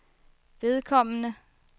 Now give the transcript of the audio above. vedkommende